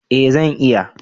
Eh zan iya